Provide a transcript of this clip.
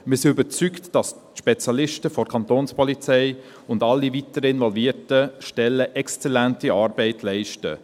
Wir sind überzeugt, dass die Spezialisten der Kantonspolizei und alle weiteren involvierten Stellen exzellente Arbeit leisten.